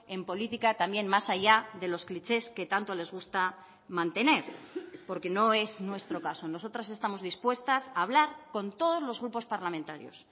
en política también más allá de los clichés que tanto les gusta mantener porque no es nuestro caso nosotras estamos dispuestas a hablar con todos los grupos parlamentarios